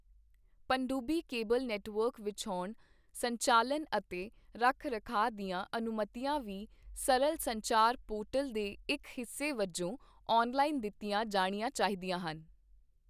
ਪਣਡੂੱਬੀ cable network ਵਿਛਾਉਣ, ਸੰਚਾਲਨ ਅਤੇ ਰੱਖ ਰਖਾਅ ਦੀਆਂ ਅਨੁਮਤੀਆਂ ਵੀ ਸਰਲ ਸੰਚਾਰ ਪੋਰਟਲ ਦੇ ਇੱਕ ਹਿੱਸੇ ਵਜੋਂ ਆਨਲਾਈਨ ਦਿੱਤੀਆਂ ਜਾਣੀਆਂ ਚਾਹੀਦੀਆਂ ਹਨ।